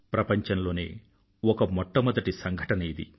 ప్రపంచంలోనే ఒక మొట్టమొదటి సంఘటన ఇది